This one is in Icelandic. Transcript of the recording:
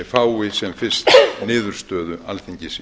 fái sem fyrst niðurstöðu alþingis